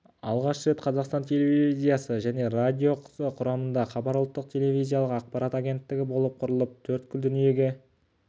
алғаш рет қазақстан телевизиясы және радиосы құрамында хабар ұлттық телевизиялық ақпарат агенттігі болып құрылып төрткүл дүниеге